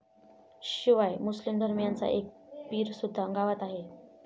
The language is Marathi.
शिवाय मुस्लिम धर्मियांचा एक पीरसुद्धा गावात आहे.